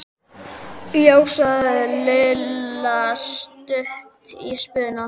Já sagði Lilla stutt í spuna.